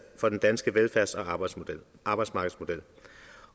for den danske velfærds og arbejdsmarkedsmodel